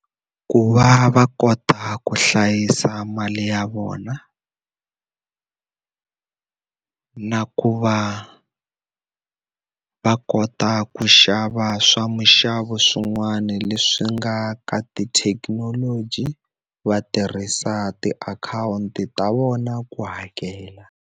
Ku va va kota ku hlayisa mali ya vona, na ku va va ko ta ku xava swa muxavo swin'wana leswi nga ka tithekinoloji, va tirhisa tiakhawunti ta vona ku hakela.